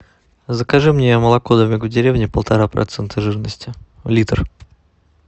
закажи мне молоко домик в деревне полтора процента жирности литр